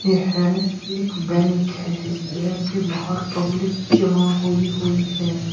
यह एक बैंक है। इस बैंक के बाहर पब्लिक जमा हुई हुई है।